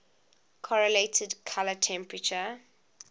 correlated color temperature